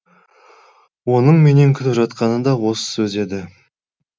оның менен күтіп жатқаны да осы сөз еді